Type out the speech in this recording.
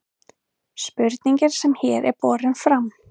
spurningin sem hér er borin fram